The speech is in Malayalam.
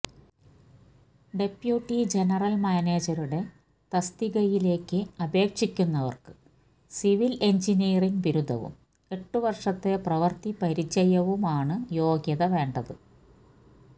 ഡെപ്യൂട്ടി ജനറല് മാനേജരുടെ തസ്തികയിലേക്ക് അപേക്ഷിക്കുന്നവര്ക്ക് സിവില് എന്ജിനീയറിങ് ബിരുദവും എട്ടുവര്ഷത്തെ പ്രവര്ത്തി പരിചയവുമാണ് യോഗ്യത വേണ്ടത്